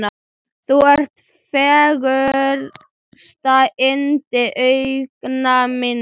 Þú ert fegursta yndi augna minna.